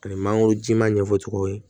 Ani mangoro ji ma ɲɛfɔcogo ye